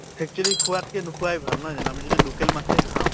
actually খোৱাত্কে নোখোৱাই ভাল নহয় জানো? আমি যদি local মাছে খাওঁ